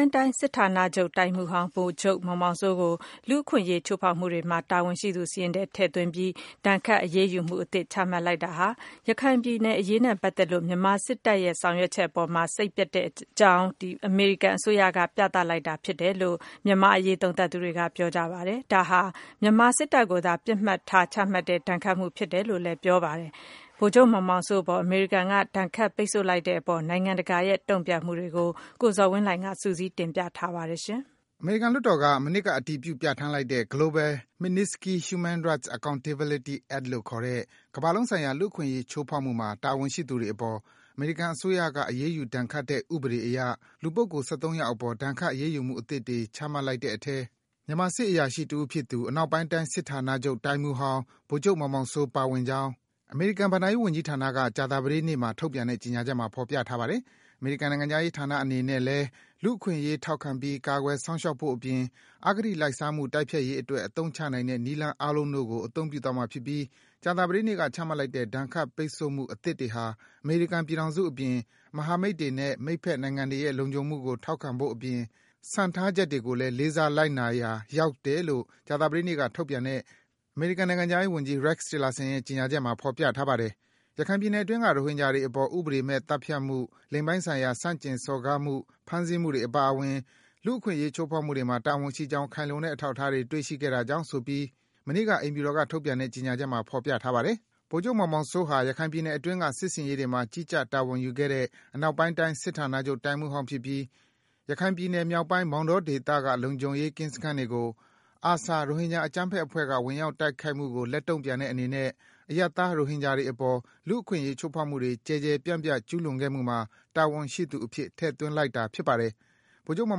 င်းတိုင်း စစ်ဌာနချုပ်တိုင်းမှူးဟောင်း ဗိုလ်ချုပ်မောင်မောင်စိုးကို လူ့အခွင့်အရေး ချိုးဖောက်မှုတွေမှာ တာဝန်ရှိသူစာရင်းထဲ ထည့်သွင်းပြီး ဒဏ်ခတ် အရေးယူမှုအသစ် ချမှတ်လိုက်တာဟာ ရခိုင်ပြည်အရေးနဲ့ပတ်သက်လို့ မြန်မာစစ်တပ်ရဲ့ လုပ်ဆောင်ချက် အပေါ် စိတ်ပျက်ကြောင်း အမေရိကန်အစိုးရက ပြသလိုက်တာ ဖြစ်တယ်လို့ မြန်မာ့အရေး သုံးသပ်သူတွေက ပြောပါတယ်။ ဒါဟာ မြန်မာ စစ်တပ်ကိုသာ ပြစ်မှတ်ထား ချမှတ်တဲ့ ဒဏ်ခတ်မှုဖြစ်တယ်လို့ သုံးသပ်ကြပါတယ်။ ဗိုလ်ချုပ်မောင်မောင်စိုးအပေါ် အမေရိကန်က ဒဏ်ခတ်ပိတ်ဆို့လိုက်တဲ့အပေါ် နိုင်ငံတကာရဲ့ တုန့်ပြန်မှုတွေကိုတော့ ကိုဇော်ဝင်းလှိုင်က စုစည်း တင်ပြပေးထားပါတယ်။ အမေရိကန် လွှတ်တော်က မနှစ်က အတည်ပြု ပြန်ဌာန်းလိုက်တဲ့ Global Magnitsky Human Rights Accountability Act လို့ခေါ်တဲ့ - ကမ္ဘာလုံးဆိုင်ရာ လူ့အခွင့်အရေး ချိုးဖောက်မှုမှာ တာဝန်ရှိသူတွေအပေါ် အမေရိကန်အစိုးရက အရေးယူဒဏ်ခတ်တဲ့ ဥပဒေအရ လူပုဂ္ဂိုလ် ယောက်အပေါ် ဒဏ်ခတ် အရေးယူမှု အသစ်တွေ ချမှတ်လိုက်တဲ့အထဲ မြန်မာစစ်အရာရှိ တဦးဖြစ်သူ အနောက်ပိုင်းတိုင်း စစ်ဌာနချုပ် တိုင်းမှူးဟောင်း ဗိုလ်ချုပ်မောင်မောင်စိုး ပါဝင်ကြောင်း အမေရိကန်ဘဏ္ဍာရေး ဝန်ကြီးဌာနက ကြာသတေးနေ့မှာ ထုတ်ပြန်တဲ့ ကြေညာချက်မှာ ဖော်ပြထားတာပါ။ အမေရိကန်နိုင်ငံခြားရေးဌာနအနေနဲ့ လူ့အခွင့်အရေး ထောက်ခံပြီး ကာကွယ်စောင့်ရှောက်ဖို့ အပြင် အကတိ လိုက်စားမှု တိုက်ဖျက်ရေးအတွက် အသုံးချနိုင်တဲ့ နည်းလမ်းအားလုံးတို့ကို အသုံးပြုသွားမှာဖြစ်ပြီး ကြာသပတေးနေ့က ချမှတ်လိုက်တဲ့ ဒဏ်ခတ် ပိတ်ဆို့မှု အသစ်တွေဟာ အမေရိကန်ပြည်ထောင်စုအပြင် မဟာမိတ်တွေနဲ့ မိတ်ဘက်နိုင်ငံတွေရဲ့ လုံခြုံမှုကို ထောက်ခံဖို့အပြင် စံထားချက်တွေကိုလည်း လေးစားလိုက်နာရာ ရောက်တယ်လို့ ကြာသပတေးနေ့က ထုတ်ပြန်တဲ့ အမေရိကန်နိုင်ငံခြားရေးဝန်ကြီး Rex Tillerson ရဲ့ ကြေညာချက်မှာ ဖော်ပြထားပါတယ်။ ရခိုင်ပြည်နယ်တွင်းက ရိုဟင်ဂျာတွေအပေါ် ဥပဒေမဲ့သတ်ဖြတ်မှု လိင်ပိုင်းဆိုင်ရာ အနိုင်ကျင့်စော်ကားမှု ဖမ်းဆီးမှုတွေအပါအဝင် လူ့အခွင့်အရေးချိုးဖောက်မှုတွေမှာ တာဝန်ရှိကြောင်း ခိုင်လုံတဲ့အထောက်အထားတွေ တွေ့ရှိခဲ့တာကြောင့်ဆိုပြီး မနေ့က အိမ်ဖြူတော်က ထုတ်ပြန်တဲ့ ကြေညာချက်မှာ ဖော်ပြထားပါတယ်။ ဗိုလ်ချုပ်မောင်မောင်စိုးဟာ ရခိုင်ပြည်နယ်အတွင်းက စစ်ဆင်ရေးတွေမှာ ကြီးကြပ် တာဝန်ယူခဲ့တဲ့ အနောက်ပိုင်းတိုင်း စစ်ဌာနချုပ် တိုင်းမှူးဟောင်းဖြစ်ပြီး ရခိုင်ပြည်နယ် မြောက်ပိုင်း မောင်တောဒေသက လုံခြုံရေးကင်းစခန်းတွေကို ARSA ရိုဟင်ဂျာ အကြမ်းဖက်အဖွဲ့က ဝင်ရောက်ခိုက်မှုကို လက်တုန့်ပြန်တဲ့အနေနဲ့ အရပ်သား ရိုဟင်ဂျာတွေအပေါ် လူ့အခွင့်အရေးချိုးဖောက်မှုတွေ ကျယ်ကျယ်ပြန့်ပြန့် ကျူးလွန်ခဲ့မှုမှာ တာဝန်ရှိသူအဖြစ် ထည့်သွင်းလိုက်တာပါ။ ဗိုလ်ချုပ်မောင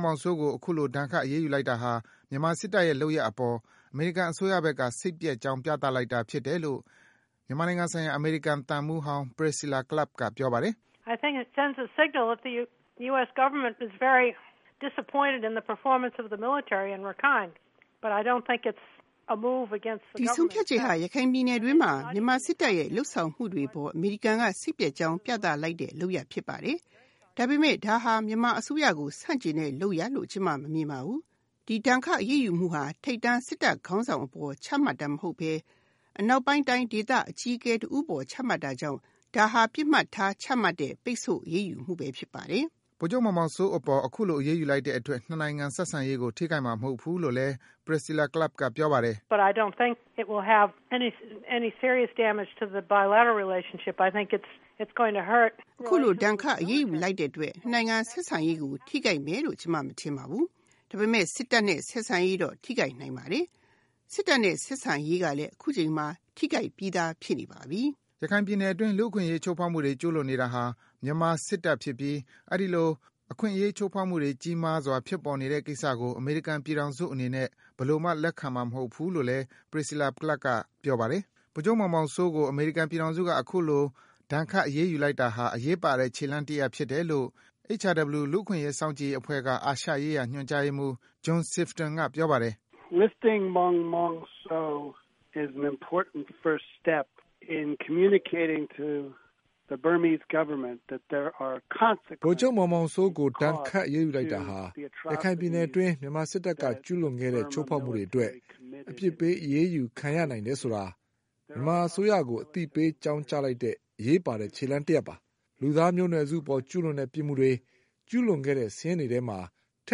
်မောင်စိုးကို အခုလို ဒဏ်ခတ် အရေးယူလိုက်တာဟာ မြန်မာစစ်တပ်ရဲ့ လုပ်ရပ်အပေါ် အမေရိကန်အစိုးရဘက်က စိတ်ပျက်ကြောင်း ပြသလိုက်တာဖြစ်တယ်လို့ မြန်မာနိုင်ငံဆိုင်ရာ အမေရိကန်သံမှူးဟောင်း Priscilla Clapp က ပြောပါတယ်။ “ဒီဆုံးဖြတ်ချက်ဟာ ရခိုင်ပြည်နယ်အတွင်းမှာ မြန်မာစစ်တပ်ရဲ့ လုပ်ဆောင်မှုတွေအပေါ် အမေရိကန်က စိတ်ပျက်ကြောင်း ပြသလိုက်တဲ့ လုပ်ရပ်ဖြစ်ပါတယ်။ ဒါပေမယ့် ဒါဟာ မြန်မာအစိုးရကို ဆန့်ကျင်တဲ့ လုပ်ရပ်လို့ ကျမ မမြင်ပါဘူး။ ဒီ ဒဏ်ခတ် အရေးယူမှုဟာ ထိပ်တန်း စစ်တပ်ခေါင်းဆောင်အပေါ် ချမှတ်တာမဟုတ်ဘဲ အနောက်ပိုင်းတိုင်းဒေသ အကြီးအကဲ တဦးအပေါ် ချမှတ်တာကြောင့် ဒါဟာ ပစ်မှတ်ထား ချမှတ်တဲ့ ဒဏ်ခတ် အရေးယူမှု ဖြစ်ပါတယ်။” ဗိုလ်ချုပ်မောင်မောင်စိုးအပေါ် အခုလို အရေးလိုက်တဲ့အတွက် နှစ်နိုင်ငံ ဆက်ဆံရေးကို ထိခိုက်မှာမဟုတ်ဘူးလို့လည်း Priscilla Clapp က ပြောပါတယ်။ “အခုလို ပိတ်ဆို့အရေးယူလိုက်တဲ့အတွက် နှစ်နိုင်ငံ ဆက်ဆံရေးကို ထိခိုက်မယ်လို့ ကျမ မထင်ပါဘူး။ ဒါပေမယ့် စစ်တပ်နဲ့ ဆက်ဆံရေးတော့ ထိခိုက်နိုင်ပါတယ်။ စစ်တပ်နဲ့ ဆက်ဆံရေးကလည်း အခုချိန်မှာ ထိခိုက်ပြီးသား ဖြစ်နေပါပြီ။” ရခိုင်ပြည်နယ်အတွင်း လူ့အခွင့်အရေး ချိုးဖောက်မှုတွေ ကျူးလွန်နေတာဟာ မြန်မာစစ်တပ်ဖြစ်ပြီး အဲဒီလို အခွင့်အရေး ချိုးဖောက်မှုတွေ ကြီးမားစွာ ဖြစ်ပေါ်နေတဲ့ကိစ္စကို အမေရိကန်ပြည်ထောင်စုအနေနဲ့ ဘယ်လိုမှ လက်ခံမှာမဟုတ်ဘူးလို့လည်း Priscilla Clapp က ပြောပါတယ်။ ဗိုလ်ချုပ်မောင်မောင်စိုးကို အမေရိကန်ပြည်ထောင်စုက အခုလို ဒဏ်ခတ် အရေးယူ လိုက်တာဟာ အရေးပါတဲ့ ခြေလှမ်းတရပ်ဖြစ်တယ်လို့ HRW လူ့အခွင့်အရေးစောင့်ကြည့်ရေး အဖွဲ့က အာရှရေးရာ ညွန်ကြားရေးမှူး John Sifton က ပြောပါတယ်။ “ဗိုလ်ချုပ်မောင်မောင်စိုးအပေါ် ဒဏ်ခတ် အရေးယူလိုက်တာဟာ ရခိုင်ပြည်နယ်အတွင်း မြန်မာစစ်တပ်က ကျူးလွန်ခဲ့တဲ့ ချိုးဖောက်မှုတွေအတွက် အပြစ်ပေး အရေးယူခံရနိုင်တယ်ဆိုတာ မြန်မာအစိုးရကို အသိအပေး အကြောင်းကြားလိုက်တဲ့ အရေးပါတဲ့ ခြေလှမ်းတရပ်ဖြစ်ပါတယ်။ လူသားမျိုးနွယ်စုအပေါ် ကျူးလွန်တဲ့ ပြစ်မှုတွေ ကျူးလွန်ခဲ့တဲ့ စာရင်းထဲမှာ ထ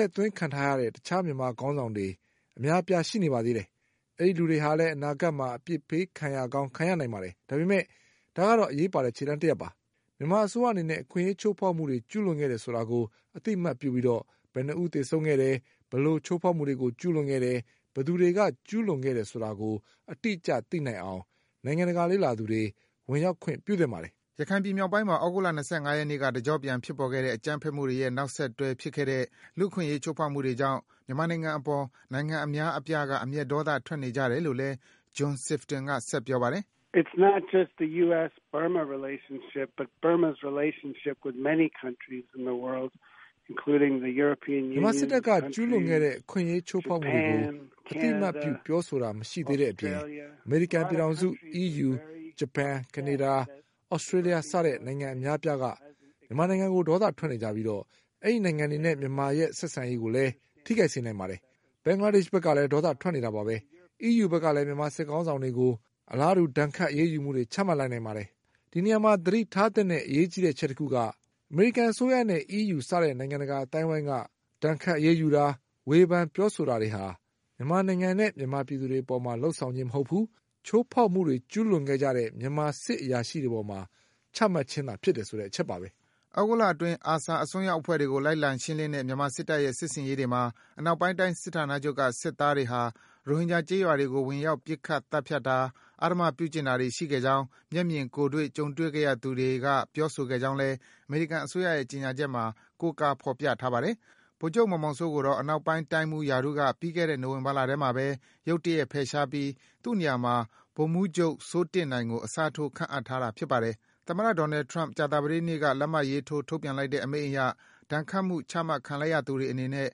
ည့်သွင်းခံထားရတဲ့ တခြား မြန်မာစစ်ခေါင်းဆောင်တွေ အများအပြား ရှိနေပါသေးတယ်။ အဲဒီလူတွေဟာလည်း အနာဂတ်မှာ အပြစ်ပေးခံရကောင်း ခံရနိုင်ပါတယ်။ ဒါပေမယ့် ဒါကတော့ အရေးပါတဲ့ ခြေလှမ်းတရပ်ဖြစ်ပါတယ်။ မြန်မာအစိုးရအနေနဲ့ အခွင့်အရေး ချိုးဖောက်မှုတွေ ကျူးလွန်ခဲ့တယ်ဆိုတာကို အသိအမှတ်ပြုပြီး ဘယ်နှစ်ဦး သေဆုံးခဲ့တယ်၊ ဘယ်လို ချိုးဖောက်မှုတွေ ကျူးလွန်ခဲ့တယ်၊ ဘယ်သူတွေက ကျူးလွန်ခဲ့တယ်ဆိုတာကို အတိအကျ သိနိုင်အောင် နိုင်ငံတကာ လေ့လာသူတွေ ဝင်ရောက်ခွင့်ပြုသင့်ပါတယ်။” ရခိုင်ပြည်နယ်မြောက်ပိုင်းမှာ သြဂုတ်လ ၂၅ ရက်နေ့က တကျော့ပြန် ဖြစ်ပေါ်ခဲ့တဲ့ အကြမ်းဖက်မှုတွေရဲ့ နောက်ဆက်တွဲ ဖြစ်ခဲ့တဲ့ လူ့အခွင့်အရေး ချိုးဖောက်မှုတွေကြောင့် မြန်မာနိုင်ငံအပေါ် နိုင်ငံအများအပြားက အမျက်ဒေါသ ထွက်နေကြတယ်လို့လည်း John Sifton က ပြောပါတယ်။ “မြန်မာစစ်တပ်က ကျူးလွန်ခဲ့တဲ့ အခွင့်အရေးချိုးဖောက်မှုတွေကို အသိအမှတ်ပြု ပြောဆိုခြင်း မရှိတဲ့အပေး အမေရိကန်ပြည်ထောင်စု၊ အီးယူ၊ ဂျပန်၊ ကနေဒါ၊ သြစတေးလျ စတဲ့ နိုင်ငံအများအပြားက မြန်မာနိုင်ငံအပေါ် ဒေါသထွက်နေကြပြီး အဲဒီနိုင်ငံတွေနဲ့ မြန်မာနိုင်ငံရဲ့ ဆက်ဆံရေးကိုလည်း ထိခိုက်စေနိုင်ပါတယ်။ ဘင်္ဂလားဒေ့ရှ်ဘက်က ဒေါသထွက်နေတာပါဘဲ။ အီးယူ ဘက်ကလည်း မြန်မာစစ်ခေါင်းဆောင်တွေအပေါ် အလားတူ ဒဏ်ခတ် အရေးယူမှုတွေ ချမှတ်လာနိုင်ပါတယ်။ ဒီနေရာမှာ သတိထားသင့်တဲ့ အရေးကြီးတဲ့အချက်တခုက အမေရိကန်အစိုးရနဲ့ အီးယူ စတဲ့ နိုင်ငံတကာ အသိုင်းဝိုင်းက ဒဏ်ခတ် ပိတ်ဆို့တာ၊ ဝေဖန် ပြောဆိုတာတွေဟာ မြန်မာနိုင်ငံနဲ့ မြန်မာပြည်သူတွေ အပေါ် လုပ်ဆောင်ခြင်းမဟုတ်ဘူး၊ ချိုးဖောက်မှုတွေ ကျူးလွန်ခဲ့ကြတဲ့ မြန်မာစစ်အရာရှိတွေ အပေါ် ချမှတ်ခြင်းဖြစ်တယ်ဆိုတဲ့ အချက်ပါဘဲ။” သြဂုတ်လအတွင်း ARSA အစွန်းရောက်အဖွဲ့တွေကို လိုက်လံရှင်းလင်းတဲ့ မြန်မာစစ်တပ်ရဲ့ စစ်ဆင်ရေးတွေမှာ အနောက်ပိုင်းတိုင်း စစ်ဌာနချုပ်က စစ်သားတွေဟာ ရိုဟင်ဂျာကျေးရွာတွေကို ဝင်ရောက်ပြီး ပစ်ခတ်သတ်ဖြတ်တာ အဓမ္မပြုကျင့်တာတွေ ရှိခဲ့ကြောင်း မျက်မြင်ကိုယ်တွေ့ ကြုံတွေ့ခဲ့ရသူတွေက ပြောဆိုခဲ့ကြောင်းလည်း အမေရိကန် အစိုးရရဲ့ ကြေညာချက်မှာ ကိုးကားဖော်ပြထားပါတယ်။ ဗိုလ်ချုပ်မောင်မောင်စိုးကိုတော့ အနောက်ပိုင်းတိုင်းမှူးရာထူးက ပြီးခဲ့တဲ့ နိုဝင်ဘာလထဲမှာပဲ ရုတ်တရက် ဖယ်ရှားပြီး သူ့နေရာမှာ ဗိုလ်မှူးချုပ်စိုးတင့်နိုင်ကို အစားထိုး ခန့်အပ်ထားတာ ဖြစ်ပါတယ်။ သမ္မတ Donald Trump ကြာသပတေးနေ့က လက်မှတ်ရေးထိုး ထုတ်ပြန်လိုက်တဲ့ အမိန့်အရ ဒဏ်ခတ်မှု ချမှတ်ခံလိုက်ရသူတွေအနေနဲ့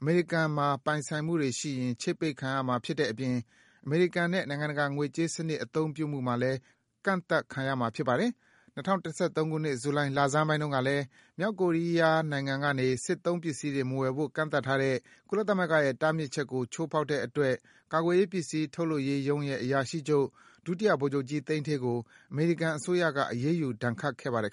အမေရိကန်မှာ ပိုင်ဆိုင်မှုတွေရှိရင် ချိတ်ပိတ်ခံရမှာ ဖြစ်တဲ့အပြင် အမေရိကန်နဲ့ နိုင်ငံတကာ ငွေကြေးစံနစ် အသုံးပြုမှု မှာလည်း ကန့်သတ်ခံရမှာ ဖြစ်ပါတယ်။ ၂၀၁၃ ခုနှစ်၊ ဇူလိုင် လဆန်းပိုင်းကတုန်းကလည်း - မြောက်ကိုရီးယား နိုင်ငံကနေ စစ်သုံးပစ္စည်းတွေ မဝယ်ယူဖို့ ကန့်သတ်ထားတဲ့ ကုလသမဂ္ဂရဲ့ တားဖြစ်ချက်ကို ချိုးဖောက်တဲ့အတွက် ကာကွယ်ရေး ပစ္စည်းထုတ်လုပ်ရေးရုံးရဲ့ အရာရှိချုပ် ဒုတိယဗိုလ်ချုပ်ကြီး သိန်းဌေးကို အမေရိကန်အစိုးရက အရေးယူဒဏ်ခတ်ခဲ့ပါတယ်